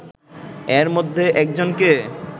এর মধ্যে একজনকে